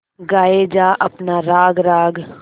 गाये जा अपना राग राग